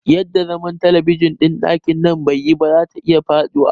Yadda zaman talabijin ɗin ɗakin nan take baiyi ba, zata iya faɗiwa